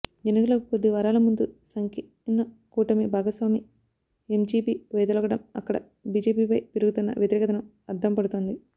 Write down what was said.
ఎన్నికలకు కొద్ది వారాల ముందు సంకీర్ణ కూటమి భాగస్వామి ఎంజిపి వైదొలగటం అక్కడ బిజెపిపై పెరుగుతున్న వ్యతిరేకతకు అద్దంపడుతోంది